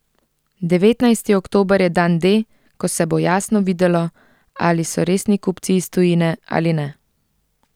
Devetnajsti oktober je dan D, ko se bo jasno videlo, ali so resni kupci iz tujine ali ne.